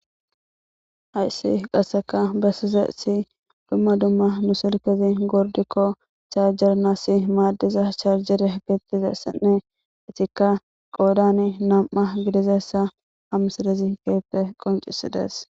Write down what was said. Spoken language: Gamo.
haysi qasseka bessizeesi dumma dumma nusilkezi gordikko chaarjernassi maaddiza charjere gettizessenne itikka qoodani nam7a gidizassa hamsidezi keeppe qoncisidees